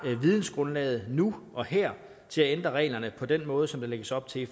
vidensgrundlaget nu og her til at ændre reglerne på den måde som der lægges op til i